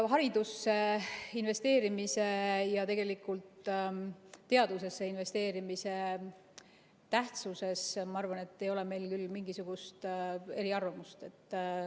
Haridusse investeerimise ja tegelikult teadusesse investeerimise tähtsuses, ma arvan, ei ole meil küll mingisugust eriarvamust.